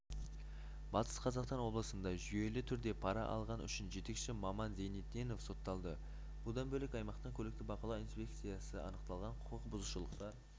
батыс қазақстан облысында жүйелі түрде пара алған үшін жетекші маман зейнедденов сотталды бұдан бөлек аймақтық көлікті бақылау инспекциясына анықталған құқық бұзушылықтар